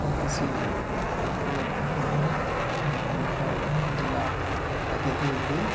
यह किसी गेट का फोटो हैं जहां पे लिखा हुआ हैं जिला अतिथि गृह।